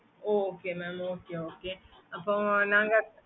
okay mam